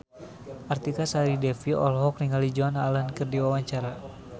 Artika Sari Devi olohok ningali Joan Allen keur diwawancara